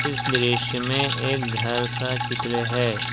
इस दृश्य में एक घर का चित्र है।